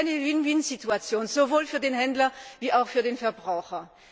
Das ist eine Win Win Situation, sowohl für den Händler als auch für den Verbraucher.